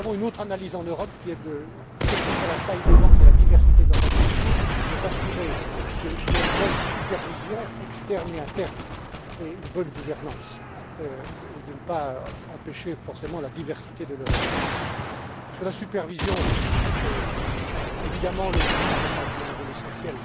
Nous avons une autre analyse en Europe qui est, quelle que soit la taille des banques et la diversité de leurs activité, de s'assurer qu'il y a une bonne supervision externe et interne et une bonne gouvernance et de ne pas empêcher forcément la diversité de leurs activités. Sur la supervision, évidemment, le Parlement joue un rôle essentiel.